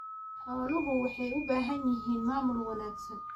Xooluhu waxay u baahan yihiin maamul wanaagsan.